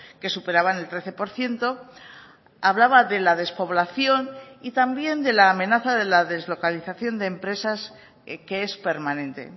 que superaban el trece por ciento hablaba de la despoblación y también de la amenaza de la deslocalización de empresas que es permanente